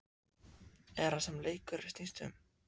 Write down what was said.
Er það sem leikurinn snýst um?